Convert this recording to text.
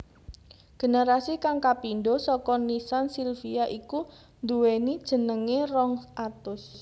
Generasi kang kapindho saka nissan silvia iku nduwéni jenengé rong atus